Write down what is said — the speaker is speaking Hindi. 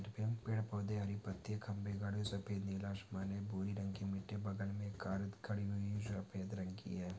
पेड़ पौधे हरी पत्ते खंबे गडे सफ़ेद नीला आसमान भोरी रंग की मिटे बगल मे एक कार खड़ी हुई है सफ़ेद रंग की है।